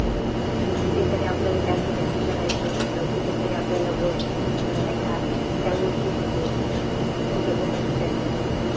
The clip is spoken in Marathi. ते कुठे तरी आपल्याला क्याल्कुलेषण करायचा असत त्या गोष्टी उज होतात, सोप्या सोप्या ठिकाणि